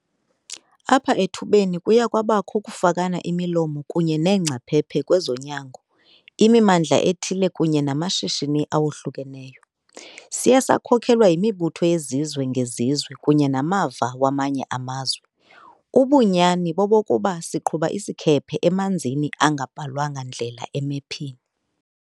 Apha ethubeni kuye kwabakho ukufakana imilomo kunye neengcaphephe kwezonyango, imimmandla ethile kunye namashishini awohlukeneyo. Siye sakhokelwa yimibutho yezizwe ngezizwe kunye namava wamanye amazwe. Ubunyani bobokuba siqhuba isikhephe emanzini angabhalwanga ndlela emephini.